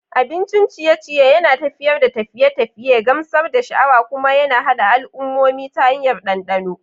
Abincin ciye-ciye yana tafiyar da tafiye-tafiye, gamsar da sha'awa, kuma yana haɗa al'ummomi ta hanyar dandano.